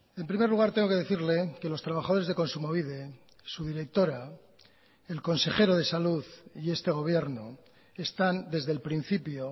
en primer lugar tengo que decirle que los trabajadores de kontsumobide su directora el consejero de salud y este gobierno están desde el principio